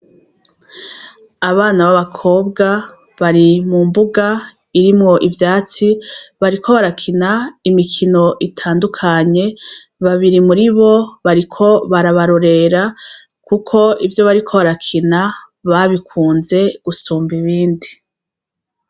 Abana b'abakobwa bari mumbuga irimwo ivyatsi bariko barakina imikino itandukanye, babiri muribo bariko barabarorera kuko ivyo bariko barakina babikunze gusumba ibindi.